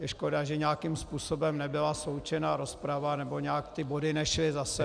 Je škoda, že nějakým způsobem nebyla sloučena rozprava nebo nějak ty body nešly za sebou -